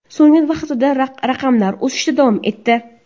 So‘nggi haftada raqamlar o‘sishda davom etdi.